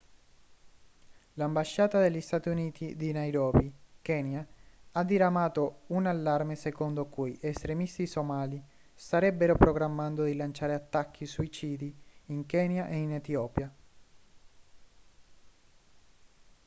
l'ambasciata degli stati uniti di nairobi kenya ha diramato un allarme secondo cui estremisti somali starebbero programmando di lanciare attacchi suicidi in kenya e in etiopia